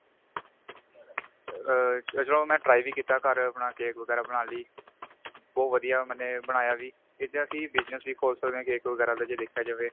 ਆ ਚਲੋ ਮੈਂ try ਵੀ ਕੀਤਾ ਮੈਂ ਆਪਣਾ cake ਵਗੈਰਾ ਬਣਾਨ ਲਈ ਬਹੁਤ ਵਧੀਆ ਮੈਨੇ ਬਣਾਇਆ ਵੀ ਇਸ ਤੇ ਅਸੀਂ business ਵੀ ਖੋਲ ਸਕਦੇ ਆ cake ਵਗੈਰਾ ਦਾ ਜੇ ਦੇਖਿਆ ਜਾਵੇ